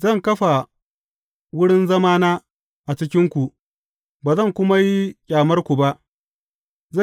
Zan kafa wurin zamana a cikinku, ba zan kuma yi ƙyamarku ba.